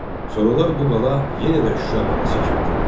Sonralar bu qala yenə də Şuşa qalası kimi tanındı.